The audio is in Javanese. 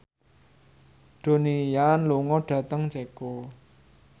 Donnie Yan lunga dhateng Ceko